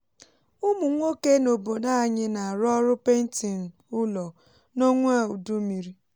ụmụ nwoke n’obodo anyị na-arụ ọrụ painting ụlọ n’onwa udummiri